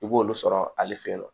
I b'olu sɔrɔ ale fe yen nɔ